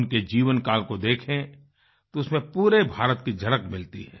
उनके जीवनकाल को देखें तो उसमें पूरे भारत की झलक मिलती है